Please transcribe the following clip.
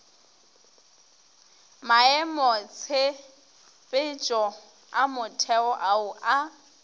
maemotshepetšo a motheo ao a